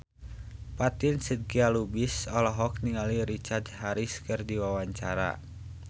Fatin Shidqia Lubis olohok ningali Richard Harris keur diwawancara